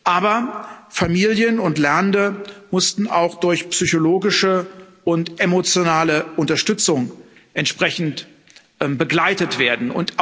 Aber Familien und Lernende mussten auch durch psychologische und emotionale Unterstützung entsprechend begleitet werden.